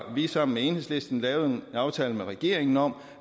sammen med enhedslisten lavet en aftale med regeringen om